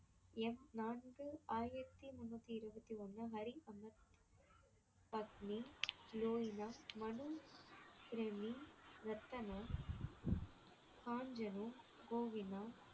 எண் நான்கு ஆயிரத்தி முன்னூத்தி இருவத்தி ஒண்ணு ஹரி அமர் அக்னி